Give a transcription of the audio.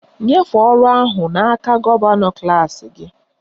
Nyefee ọrụ ahụ n'aka gọvanọ klas gị!